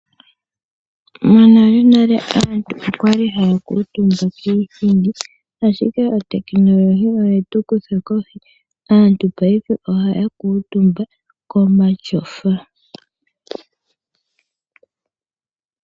Monalenale aantu okwali haya kuutumba kiithindi, ashike otekinolohi oyetu kutha kohi, aantu paife ohaya kutumba komashofa.